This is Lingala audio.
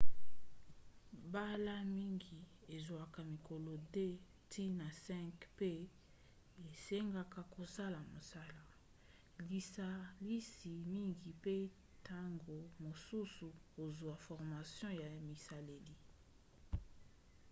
mbala mingi ezwaka mikolo 2-5 mpe esengaka kosala mosala lisalisi mingi mpe ntango mosusu kozwa formation ya bisaleli